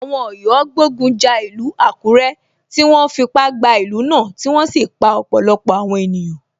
Àwọn Ọ̀yọ́ gbógun ja ìlú Àkúré, tí wọ́n fipá gba ìlú náà tí wọ́n sì pa ọ̀pọ̀lọpọ̀ àwọn ènìyàn.